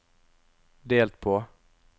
delt på